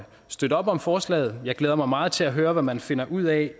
støtte op om forslaget jeg glæder mig meget til at høre hvad man finder ud af